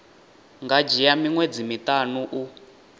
nga dzhia miṅwedzi miṱanu u